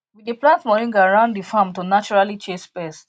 we dey plant moringa round the farm to naturally chase pest